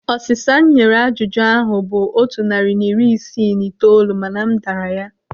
Ọsịsa nye ajụjụ ahụ bụ otu narị na iri isii na itoolu mana m dara ya.